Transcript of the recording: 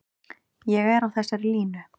Ég er á þessari línu.